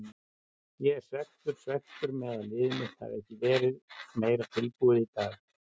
Ég er svekktur, svekktur með að liðið mitt hafi ekki verið meira tilbúið í dag.